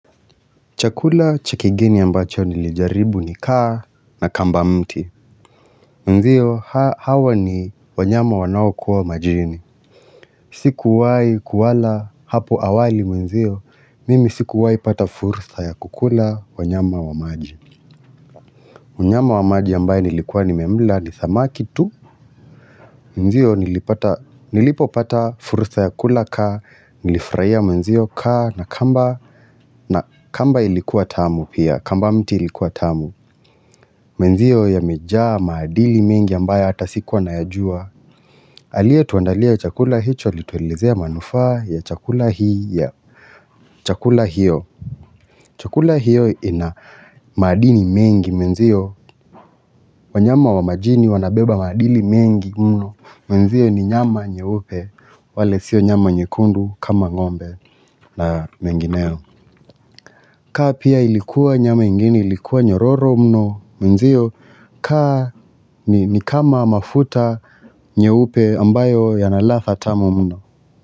Chakula cha kigeni ambacho nilijaribu ni kaa na kamba mti. Mnzio hawa ni wanyama wanaokua majini. Sikuwahu kuwala hapo awali mwenzio. Mimi sikuwahi pata fursa ya kukula wanyama wa maji. Mnyama wa maji ambaye nilikuwa nimemla ni samaki tu. Mwenzio nilipata nilipopata fursa ya kula kaa. Nilifurahia mwenzio kaa na kamba. Na kamba ilikuwa tamu pia. Kamba mti ilikuwa tamu. Mwenzio yamejaa maadili mengi ambaye hata sikuwa nayajua Aliyetuandalia chakula hicho alituelezea manufaa ya chakula hii ya chakula hiyo Chakula hiyo ina maadili mengi mwenziyo wanyama wa majini wanabeba maadili mengi mno Mwenziyo ni nyama nyeupe wale sio nyama nyekundu kama ng'ombe na mengineo kaa pia ilikuwa nyama ingine ilikuwa nyororo mno Mwenzio, kaa ni kama mafuta nyeupe ambayo yana latha tamu mno.